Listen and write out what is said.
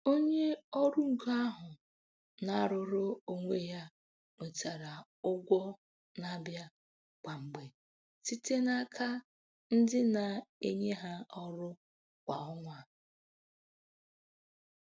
Onye ọrụ ngo ahụ nke na-arụrụ onwe ya nwetara ụgwọ na-abịa kwa mgbe site n'aka ndị na-enye ha ọrụ kwa ọnwa.